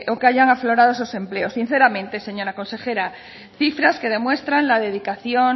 que hayan aflorado esos empleos sinceramente señora consejera cifras que demuestran la dedicación